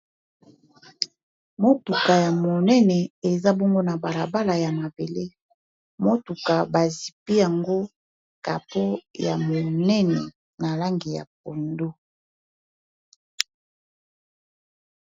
Motuka ya monene eza bongo na balabala ya mabele motuka bazipi yango kapo ya monene na langi ya pondo.